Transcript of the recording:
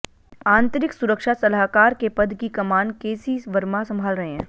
आंतरिक सुरक्षा सलाहकार के पद की कमान केसी वर्मा संभाल रहे हैं